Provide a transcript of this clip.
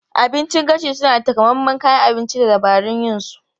Abincin gashi suna da takamaiman kayan abinci da dabarun yin su.